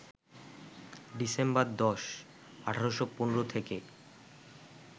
December ১০, ১৮১৫ থেকে